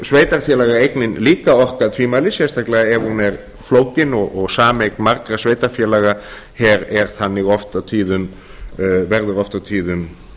reyndar getur sveitarfélagaeignin líka orkað tvímælis sérstaklega ef hún er flókin og sameign margra sveitarfélaga verður oft og tíðum